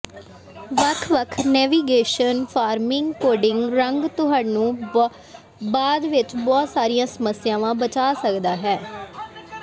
ਵੱਖ ਵੱਖ navigation farming coding ਰੰਗ ਤੁਹਾਨੂੰ ਬਾਅਦ ਵਿੱਚ ਬਹੁਤ ਸਾਰੀਆਂ ਸਮੱਸਿਆਵਾਂ ਬਚਾ ਸਕਦਾ ਹੈ